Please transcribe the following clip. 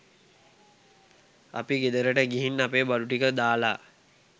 අපි ගෙදරට ගිහින් අපේ බඩු ටික දාලා